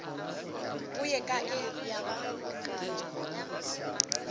go ye kae ya ba